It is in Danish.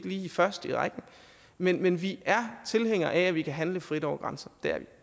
lige først i rækken men men vi er tilhængere af at man kan handle frit over grænser